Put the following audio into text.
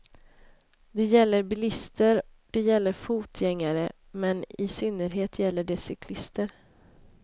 Det gäller bilister, det gäller fotgängare men i synnerhet gäller det cyklister.